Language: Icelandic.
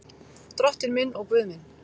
Drottinn minn og Guð minn.